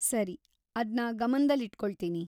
ಸರಿ, ಅದ್ನ ಗಮನ್ದಲ್ಲಿಟ್ಕೊಳ್ತೀನಿ.